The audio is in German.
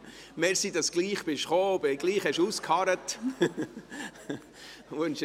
Danke, dass Sie gleichwohl gekommen sind und ausgeharrt haben.